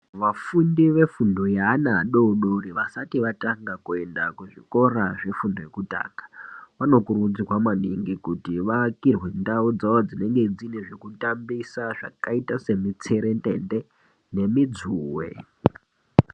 Vafundi vefundo yeana adodori vasati vatanga kuenda kuzvikora zvefundo yekutanga, vanokurudzirwa maningi kuti vaakirwe ndau dzavo dzinenge dzine zvekutambisa zvakaita semitserendende nemidzuwe.